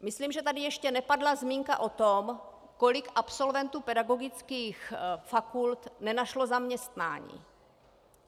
Myslím, že tady ještě nepadla zmínka o tom, kolik absolventů pedagogických fakult nenašlo zaměstnání.